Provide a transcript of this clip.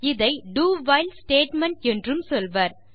இதை do while statement என்றும் சொல்வர்